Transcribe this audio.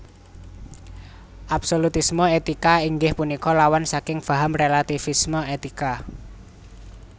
Absolutisme étika inggih punika lawan saking faham rélativisme étika